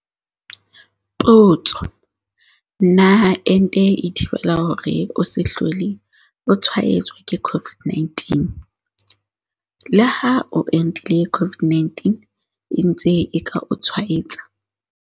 Potso- Na ente e thibela hore o se hlole o tshwaetswa ke COVID-19? Leha o entile COVID-19 e ntse e ka o tshwaetsa.